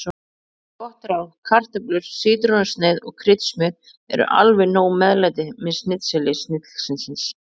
Gott ráð: Kartöflur, sítrónusneið og kryddsmjör eru alveg nóg meðlæti með snitseli snillingsins.